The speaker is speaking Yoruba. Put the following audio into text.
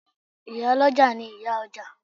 Ìyá lọ́jà ni ìyá ọjà.